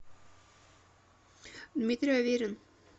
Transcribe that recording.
дмитрий аверин